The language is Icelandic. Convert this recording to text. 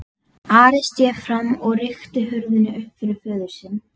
Ari sté fram og rykkti hurðinni upp fyrir föður sinn.